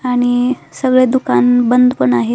आणि सगळे दुकान बंद पण आहे.